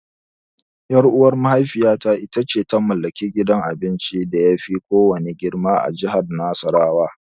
Ƴar'uwar mahaifiyata ita ce ta mallaki gidan abincin da yafi kowanne girma a jihar Nasarawa.